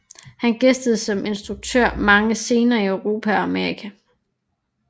Han gæstede som instruktør mange scener i Europa og Amerika